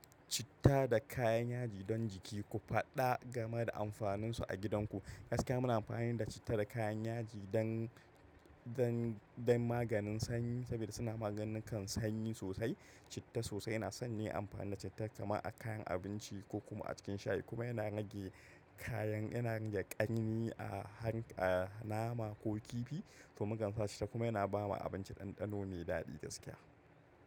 Citta da kayan yaji don jiki. Ku faɗa game da amfanin su agidan ku. Gaskiya mu amfani da citta da kayan yaji dan, dan, dan maganin sanyi sabida suna magani kan sanyi sosai. Citta sosai ina son yin amfani da citta kama a kayan abinci ko kuma a cikin shayi kuma yana nage kayan, yana nage ƙarni a hank-a nama ko kifi to mukan sa citta kuma yana ba ma abinci ɗanɗano me daɗi gaskiya.